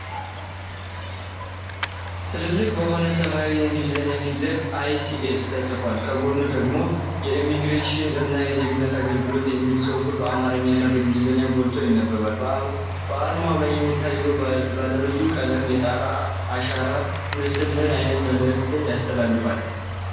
ትልልቅ በሆኑ ሰማያዊ የእንግሊዝኛ ፊደላት “ICS” ተጽፎ፣ ከጎኑ ደግሞ “የኢሚግሬሽን እና የዜግነት አገልግሎት” የሚል ጽሑፍ በአማርኛ እና በእንግሊዝኛ ጎልቶ ይነበባል። በአርማው ላይ የሚታየው ባለብዙ ቀለም የጣት አሻራ ምስል ምን ዓይነት መልእክት ያስተላልፋል?